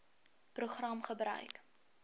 program gebruik